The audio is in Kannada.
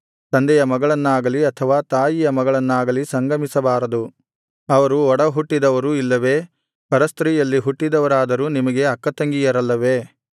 ತಂದೆಯ ಮಗಳನ್ನಾಗಲಿ ಅಥವಾ ತಾಯಿಯ ಮಗಳನ್ನಾಗಲಿ ಸಂಗಮಿಸಬಾರದು ಅವರು ಒಡ ಹುಟ್ಟಿದವರು ಇಲ್ಲವೇ ಪರಸ್ತ್ರೀಯಲ್ಲಿ ಹುಟ್ಟಿದವರಾದರೂ ನಿಮಗೆ ಅಕ್ಕತಂಗಿಯರಲ್ಲವೇ